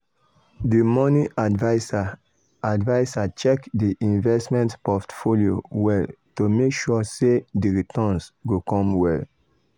d money adviser adviser check di investment portfolio well to make sure sey di returns go come well.